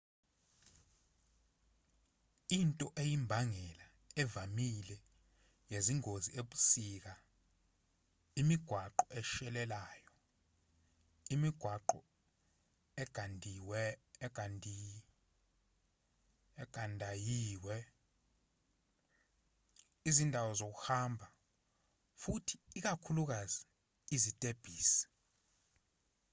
into eyimbangela evamile yezingozi ebusika imigwaqo eshelelayo imigwaqo egandayiwe izindawo zokuhamba futhi ikakhulukazi izitebhisi